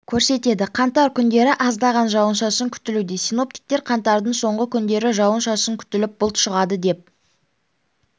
көрсетеді қаңтар күндері аздаған жауын-шашын күтілуде синоптиктер қаңтардың соңғы күндері жауын-шашын күтіліп бұлт шығады деп